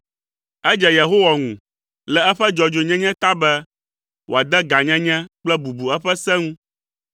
Edze Yehowa ŋu le eƒe dzɔdzɔenyenye ta be, wòade gãnyenye kple bubu eƒe se ŋu.